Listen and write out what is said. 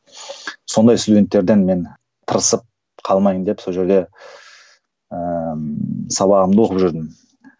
сондай студенттерден мен тырысып қалмайын деп сол жерде ыыы сабағымды оқып жүрдім